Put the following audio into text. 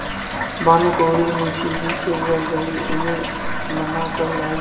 भानुकुँवरि मुंशी जी के घर गयी उन्हें मना कर लायीं